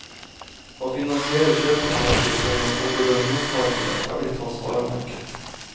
Å finansiere kjøp av tankskip gjennom obligasjonsmarkedet er blitt hans varemerke.